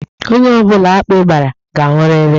Onye ọ bụla akpị gbara, ga anwụrịrị.